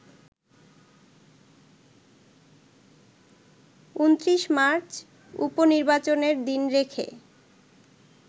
২৯ March উপ-নির্বাচনের দিন রেখে